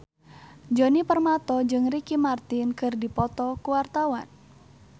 Djoni Permato jeung Ricky Martin keur dipoto ku wartawan